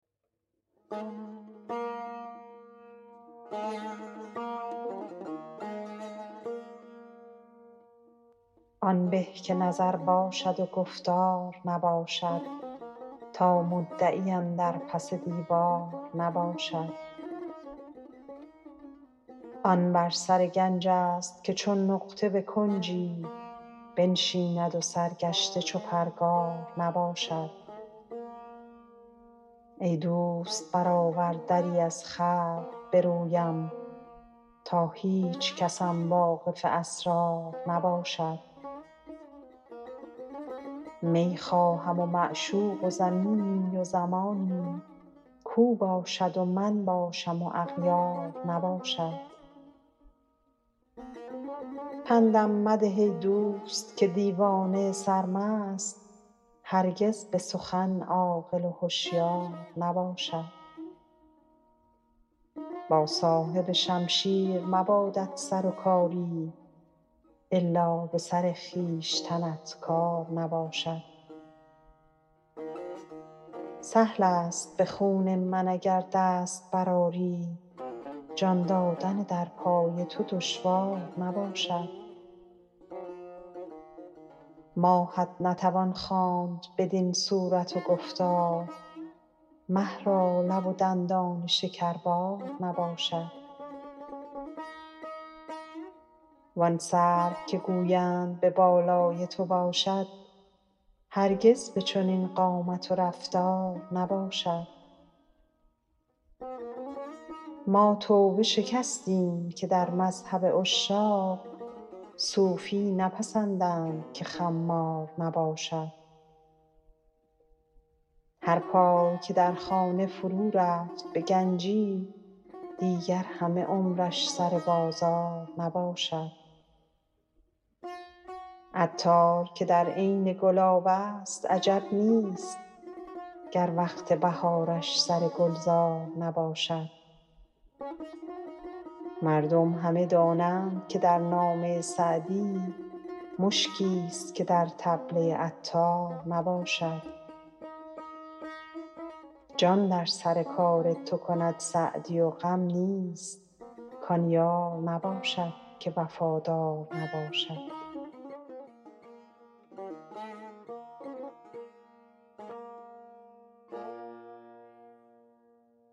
آن به که نظر باشد و گفتار نباشد تا مدعی اندر پس دیوار نباشد آن بر سر گنج ست که چون نقطه به کنجی بنشیند و سرگشته چو پرگار نباشد ای دوست برآور دری از خلق به رویم تا هیچکسم واقف اسرار نباشد می خواهم و معشوق و زمینی و زمانی کاو باشد و من باشم و اغیار نباشد پندم مده ای دوست که دیوانه سرمست هرگز به سخن عاقل و هشیار نباشد با صاحب شمشیر مبادت سر و کاری الا به سر خویشتنت کار نباشد سهل است به خون من اگر دست برآری جان دادن در پای تو دشوار نباشد ماهت نتوان خواند بدین صورت و گفتار مه را لب و دندان شکربار نباشد وان سرو که گویند به بالای تو باشد هرگز به چنین قامت و رفتار نباشد ما توبه شکستیم که در مذهب عشاق صوفی نپسندند که خمار نباشد هر پای که در خانه فرو رفت به گنجی دیگر همه عمرش سر بازار نباشد عطار که در عین گلاب است عجب نیست گر وقت بهارش سر گلزار نباشد مردم همه دانند که در نامه سعدی مشکیست که در کلبه عطار نباشد جان در سر کار تو کند سعدی و غم نیست کان یار نباشد که وفادار نباشد